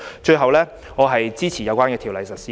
最後，我支持《條例草案》。